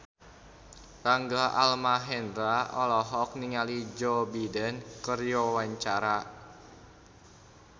Rangga Almahendra olohok ningali Joe Biden keur diwawancara